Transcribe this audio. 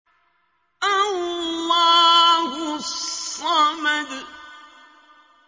اللَّهُ الصَّمَدُ